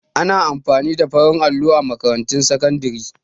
Ana amfani da farin allo a makarantun sakandare